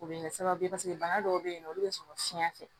O bɛ kɛ sababu ye paseke bana dɔw bɛ yen nɔ olu bɛ sɔrɔ fiɲɛ fɛ